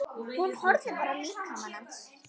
Hún horfði á líkama hans.